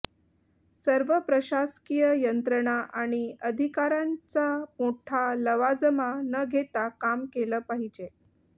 सर्व प्रशासकीय यंत्रणा आणि अधिकाऱ्यांचा मोठा लवाजमा न घेता काम केलं पाहिजे